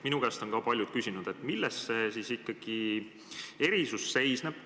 Minu käest on ka paljud küsinud, milles siis ikkagi see erisus seisneb.